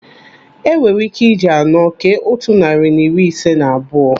Enwere ike iji anọ kee otu narị na iri ise na abụọ.